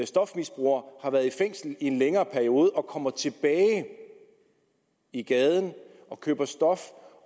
stofmisbrugere har været i fængsel i en længere periode og kommer tilbage i gaden og køber stof